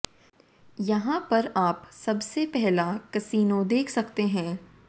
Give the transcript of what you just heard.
यहां पर आप सबसे पहला कसिनो देख सकते हैं